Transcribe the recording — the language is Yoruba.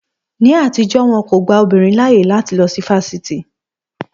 Ní àtijọ́, won kò gba obìnrin láyè láti lọ sí fáfitì